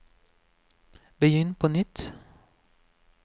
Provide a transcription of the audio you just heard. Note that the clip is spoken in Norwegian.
begynn på nytt